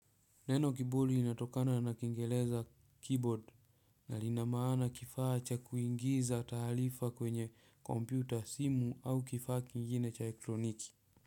Neno kiburi inatokana na kingeleza keyboard na linamaana kifaa cha kuingiza talifa kwenye computer simu au kifaa kingine cha ekroniki.